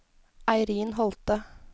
Eirin Holthe